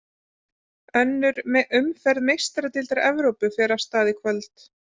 Önnur umferð Meistaradeildar Evrópu fer af stað í kvöld.